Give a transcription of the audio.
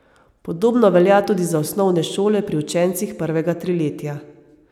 Podobno velja tudi za osnovne šole pri učencih prvega triletja.